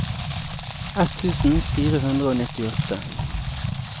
ett tusen fire hundre og nittiåtte